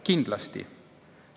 Kindlasti!